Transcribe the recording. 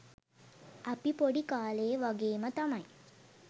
අපි පොඩි කාලේ වගේම තමයි